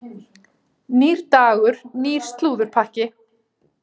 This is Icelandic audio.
Nýr dagur, nýr slúðurpakki.